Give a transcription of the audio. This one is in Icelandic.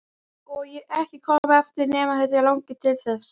Og ekki koma aftur nema þig langi til þess.